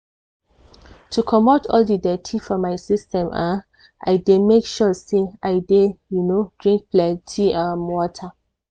to comot all di dirty for my system um i dey make sure say i dey um drink plenty um water.